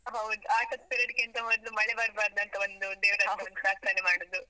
ಹೌದು, ಆಟದ್ period ಗಿಂತ ಮೊದ್ಲು ಮಳೆ ಬರ್ಬಾರ್ದು ಅಂತ ಒಂದು ಪ್ರಾರ್ಥನೆ ಮಾಡುದು.